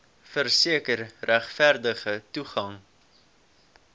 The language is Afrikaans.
verseker regverdige toegang